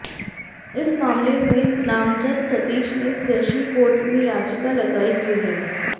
इस मामले में नामजद सतीश ने सेशन कोर्ट में याचिका लगाई हुई है